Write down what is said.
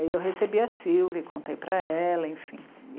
Aí eu recebi a Sílvia e contei para ela, enfim.